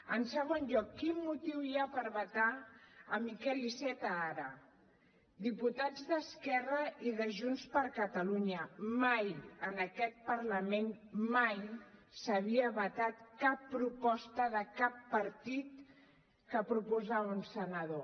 en segon lloc quin motiu hi ha per vetar miquel iceta ara diputats d’esquerra i de junts per catalunya mai en aquest parlament mai s’havia vetat cap proposta de cap partit que proposava un senador